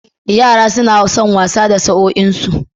Yara suna son wasa da sa'anninsu.